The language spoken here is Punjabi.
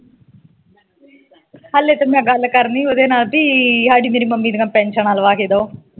ਹਲੇ ਤਾ ਮੈ ਗੱਲ ਕਰਨੀ ਓਦੇ ਨਾਲ ਪੀ ਈ ਹਾਡੀ ਮੇਰੀ ਮੰਮੀ ਦੀਆ ਪੈਨਸ਼ਨਾ ਲਵਾ ਕੇ ਦੋ